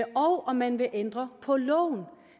og om man vil ændre på loven